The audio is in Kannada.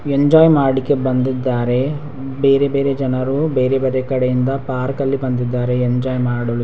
ಎಂಜೋಯ್ ಮಾಡ್ಲಿಕೆ ಬಂದಿದ್ದಾರೆ ಬೇರೆ ಬೇರೆ ಜನರು ಬೇರೆ ಬೇರೆ ಕಡೆಯಿಂದ ಪಾರ್ಕಲ್ಲಿ ಬಂದಿದ್ದಾರೆ ಎಂಜೋಯ್ ಮಾಡಲು.